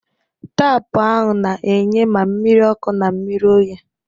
Taapụ ahụ na-enye ma mmiri ọkụ na mmiri oyi.